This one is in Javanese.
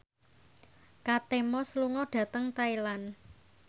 Kate Moss lunga dhateng Thailand